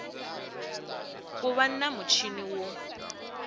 ku va na muchini wo